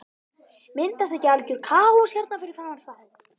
Myndast ekki algjör kaos hérna fyrir framan staðinn?